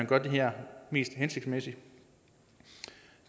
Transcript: gøre det her mest hensigtsmæssigt